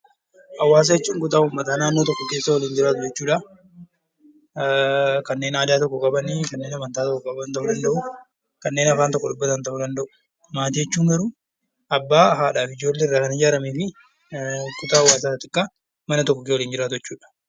Hawaasa jechuun kutaa uummataa naannoo tokko keessa waliin jiraatan jechuu dha. Kanneen Aadaa tokko qabanii, kanneen Amantaa tokko qaban ta'uu danda'u, kanneen Afaan tokko dubbatan ta'uu danda'u. Maatii jechuun garuu Abbaa, Haadhaa fi Ijoollee irraa kan ijaaramee fi kutaa hawaasaa xiqqaa mana tokko keessa waliin jiraatu jechuu dha.